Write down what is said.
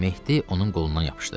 Mehdi onun qolundan yapışdı.